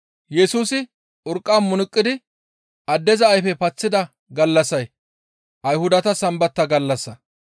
Yesusi urqqa munuqidi addeza ayfe paththida gallassay Ayhudata Sambata gallassa.